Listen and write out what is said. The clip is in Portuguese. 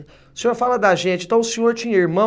O senhor fala da gente, então o senhor tinha irmãos?